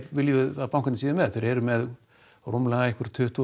viljum við að bankarnir séu með þeir eru með rúmlega tuttugu